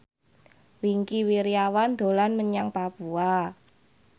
Wingky Wiryawan dolan menyang Papua